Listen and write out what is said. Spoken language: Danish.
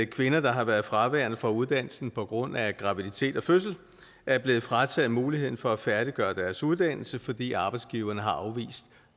kvinder der har været fraværende fra uddannelsen på grund af graviditet og fødsel er blevet frataget muligheden for at færdiggøre deres uddannelse fordi arbejdsgiveren har afvist